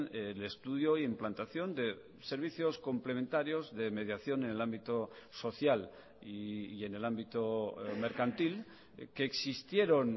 el estudio y implantación de servicios complementarios de mediación en el ámbito social y en el ámbito mercantil que existieron